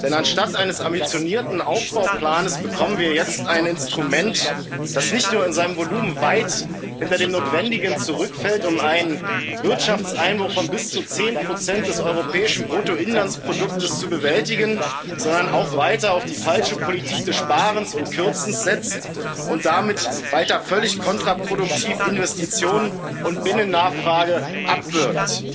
Denn anstatt eines ambitionierten Aufbauplans bekommen wir jetzt ein Instrument, das nicht nur in seinem Volumen weit hinter dem Notwendigen zurückfällt, um einen Wirtschaftseinbruch von bis zu 10 des europäischen Bruttoinlandproduktes zu bewältigen, sondern auch weiter auf die falsche Politik des Sparens und Kürzens setzt und damit weiter völlig kontraproduktiv Investitionen und Binnennachfrage abwürgt.